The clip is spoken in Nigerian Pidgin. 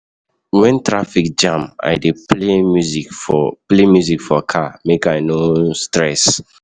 Wen traffic jam, I dey play music for play music for car, make I no stress.